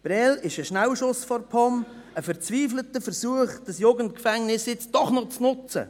Prêles ist ein Schnellschuss der POM, ein verzweifelter Versuch, das Jugendgefängnis nun doch noch zu nützen.